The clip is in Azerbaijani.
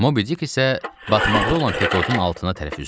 Mobidik isə batmaqda olan Pekodun altına tərəf üzdü.